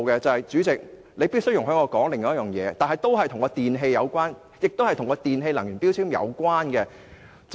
主席，你必須容許我說這件事，它與電器有關，而且與電器能源標籤有關。